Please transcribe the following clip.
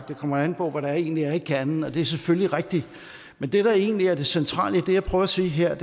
det kommer an på hvad der egentlig er i kernen og det er selvfølgelig rigtigt men det der egentlig er det centrale i det jeg prøver at sige her er at